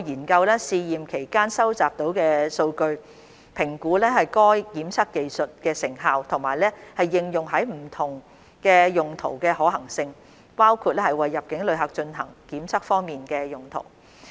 我們將會研究試驗期間收集到的數據，評估該檢測技術的成效和應用於不同用途的可行性，包括為入境旅客進行檢測方面的用途。